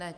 Ne.